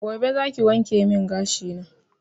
Gobe zaki wankemin gashi na